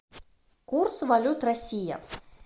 курс валют россия